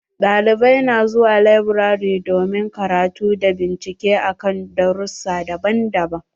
Ɗalibai na zuwa laburare domin karatu da bincike akan darussa daban-daban.